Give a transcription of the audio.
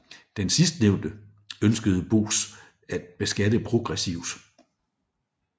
Den sidstnævnte ønskede Bos at beskatte progressivt